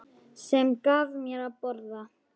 Sem gaf mér að borða.